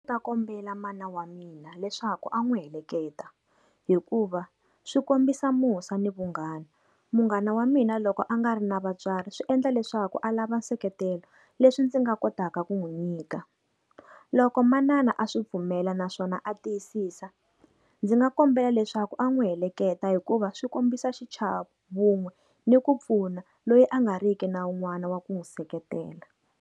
Ndzi ta kombela mana wa mina leswaku a n'wi heleketa, hikuva swi kombisa musa ni vunghana. Munghana wa mina loko a nga ri na vatswari swi endla leswaku a lava nseketelo, leswi ndzi nga kotaka ku n'wi nyika loko manana a swi pfumela naswona a tiyisisa, ndzi nga kombela leswaku a n'wi heleketa hikuva swi kombisa xichavo vun'we ni ku pfuna loyi a nga riki na un'wana wa ku n'wi seketela.